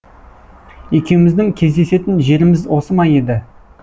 екеумізідң кездесетін жеріміз осы ма еді